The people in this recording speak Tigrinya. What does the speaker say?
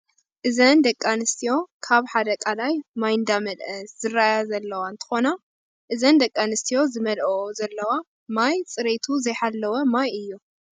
እዘን ደቂ ኣነስትዮ ካብ ሓደ ቃላይ ማይ እንዳመልአ ዝረአያ ዘለዋ እንትኮና እዘን ደቂ ኣነስትዮ ዝመልኦኦ ዘለዋ ማይ ፅሬቱ ዘይሓለወ ማይ እዩ።